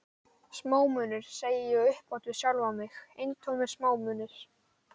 Smámunir, segi ég upphátt við sjálfan mig, eintómir smá- munir.